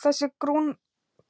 Þessi